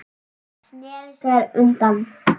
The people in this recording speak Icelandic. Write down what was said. Sneri sér undan.